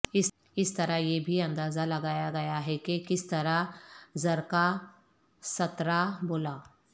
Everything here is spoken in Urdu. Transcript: اس طرح یہ بھی اندازہ لگایا گیا ہے کہ کس طرح زرکاسترا بولا